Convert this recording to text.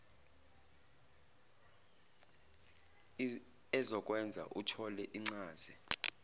ezokwenza uthole incaze